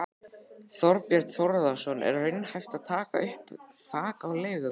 Þorbjörn Þórðarson: Er raunhæft að taka upp þak á leiguverð?